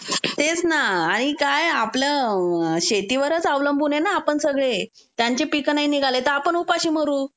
तेच ना आणि काय आपलं शेतीवरच अवलंबून आहे ना आपण सगळे. त्यांचे पिकांनाही निघाले तर आपण उपाशी मरू.